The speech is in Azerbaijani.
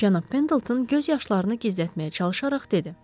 Cənab Pendelton göz yaşlarını gizlətməyə çalışaraq dedi: